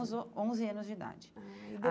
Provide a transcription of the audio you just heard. Uns on onze anos de idade. Ah e